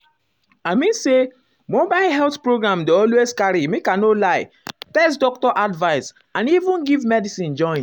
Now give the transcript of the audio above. i mean say mobile health program dey always carry make i no lie test doctor advice and even give medicine join.